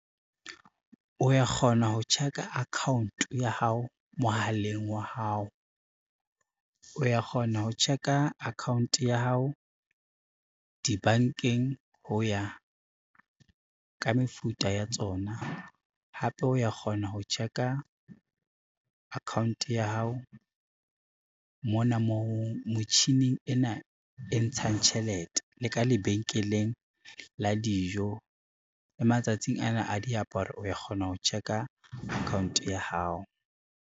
O ya kgona ho check-a account-o ya hao mohaleng wa hao, o ya kgona ho check-a account ya hao dibankeng ho ya ka mefuta ya tsona. Hape o ya kgona ho check-a account ya hao mona moo motjhining ena e ntshang tjhelete le ka lebenkeleng a dijo le matsatsing ana a diaparo o ya kgona ho check-a account ya hao.